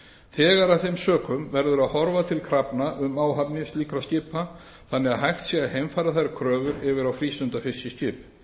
þegar af þeim sökum verður að horfa til krafna um áhafnir slíkra skipa þannig að hægt sé að heimfæra þær kröfur yfir á frístundafiskiskip